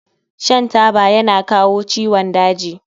Shan taba yana kawo ciwon daji